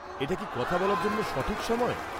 -এটা কি কথা বলার জন্য সঠিক সময়?